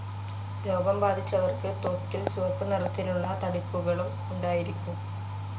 രോഗം ബാധിച്ചവർക്ക് ത്വക്കിൽ ചുവപ്പുനിറത്തിലുള്ള തടിപ്പുകളും ഉണ്ടായിരിക്കും.